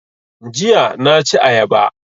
Jiya na ci ayaba